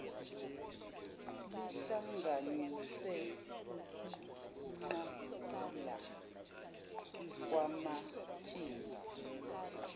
lihlanganise ukuqagulwa kwamathimba